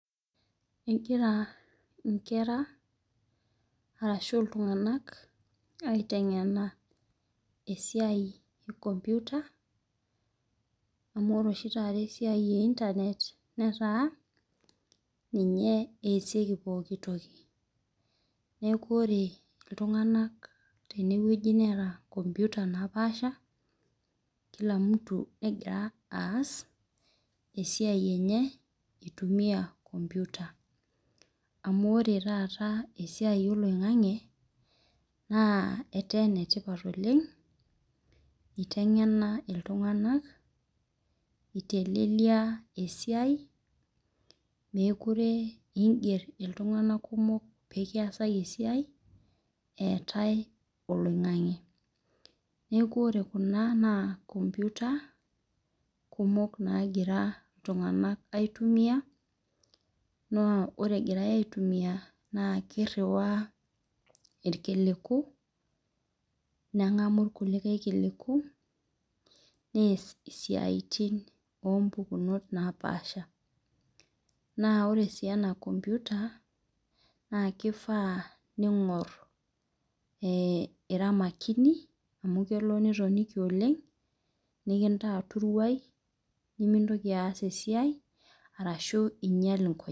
Egira nkera arashu ltunganak aitengena. Esiai ekomputa amu ore oshi taata esia e internet netaa ninye easieki pokki toki neaku ore ltunganak teneweuji neeta nkomputa napaasha kila mtu negia aas esia enye itumia enkomputa amu ore taata esiai oloingangi na etaa enetipat oleng itengena ltunganak itelelia esiai mekute ingel ltunganak kumok pekiasaki esiai eetae oloingangi neaku ore kuna na nkomputa kumok nagira ltunganak aitumia na ore egirai aitumia na kiriwaa irkiliku nemgamu irkulikae kiliku neas siatin napasha na ore si ena nkomputa na kifaa pingor amu kelo nitoniki oleng nikintaa turuai nimintoki aas esiai ashu inyal inkonyek.